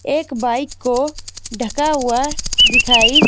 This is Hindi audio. एक बाइक को ढका हुआ दिखाई--